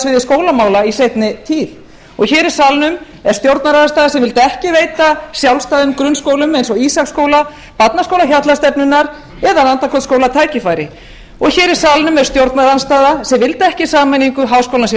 sviði skólamála í seinni að og hér í salnum er stjórnarandstaða sem vildi ekki veita sjálfstæðum grunnskólum eins og ísaksskóla barnaskóla hjallastefnunnar eða landakotsskóla tækifæri og hér í salnum er stjórnarandstaða sem vildi ekki sameiningu háskólans í